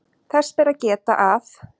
Þess ber að geta að